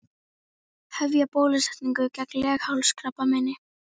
Hefja bólusetningu gegn leghálskrabbameini